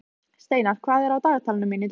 Steinar, hvað er á dagatalinu mínu í dag?